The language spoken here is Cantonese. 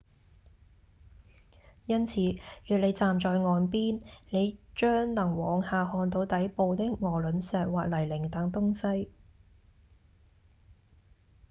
因此若你站在岸邊你將能往下看到底部的鵝卵石或泥濘等東西